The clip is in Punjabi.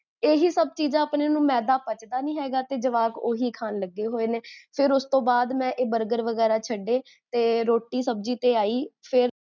ਇਹੀ ਸਬ ਚੀਜਾਂ ਆਪਣੇ ਨੂੰ ਮੈਦਾ ਪਚਦਾ ਨੀ ਹੈਗਾ ਤੇ ਜਵਾਕ ਓਹੀਖਾਨ ਲੱਗੇ ਹੋਏ ਨੇ, ਫੇਰ ਓਸ ਤੋਂ ਬਾਦ, ਮੈਂ ਇਹ burger ਵਗੇਰਾ ਛੱਡੇ ਤੇ ਰੋਟੀ ਸਬਜੀ ਤੇ ਆਈ, ਫੇਰ